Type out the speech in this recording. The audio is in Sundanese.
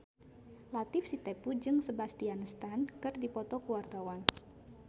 Latief Sitepu jeung Sebastian Stan keur dipoto ku wartawan